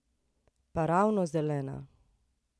Pa ravno zelena!